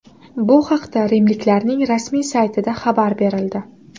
Bu haqda rimliklarning rasmiy saytida xabar berildi .